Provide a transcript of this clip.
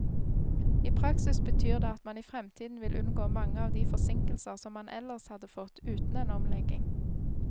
I praksis betyr det at man i fremtiden vil unngå mange av de forsinkelser som man ellers hadde fått uten en omlegging.